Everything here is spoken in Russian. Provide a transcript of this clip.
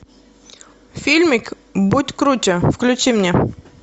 фильмик будь круче включи мне